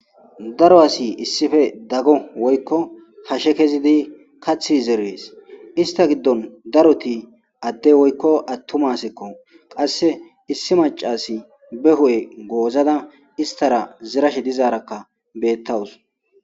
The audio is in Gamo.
daro asi issife daggo woykko hashe kezidi kathi zerees ista giddon daroti adde woykko attumasekko qasse issi macasi be hu7e goozada istara zerash dizaarakka beettawus